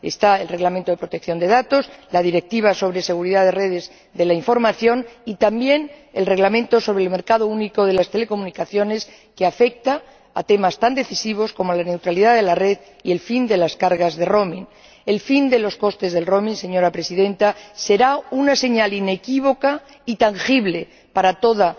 Está el Reglamento de protección de datos, la Directiva sobre seguridad de redes de la información y también el Reglamento sobre el mercado único de las telecomunicaciones, que afecta a temas tan decisivos como la neutralidad de la red y el fin de las cargas de roaming El fin de los costes del roaming señora Presidenta, será una señal inequívoca y tangible para toda